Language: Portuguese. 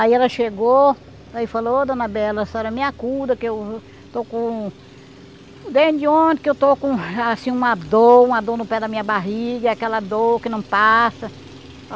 Aí ela chegou, aí falou, oh dona Bela, a senhora me acuda que eu estou com... Desde onde que eu estou com assim uma dor, uma dor no pé da minha barriga, aquela dor que não passa.